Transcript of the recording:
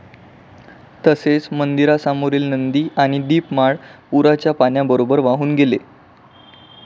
तसेच मंदिरासमोरील नंदी आणि दीपमाळ पूराच्या पाण्याबरोबर वाहून गेले.